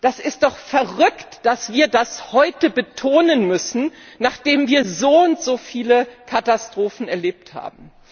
Es ist doch verrückt, dass wir das heute betonen müssen, nachdem wir soundso viele Katastrophen erlebt haben!